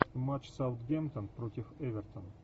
матч саутгемптон против эвертон